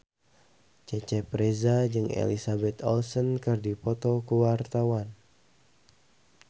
Cecep Reza jeung Elizabeth Olsen keur dipoto ku wartawan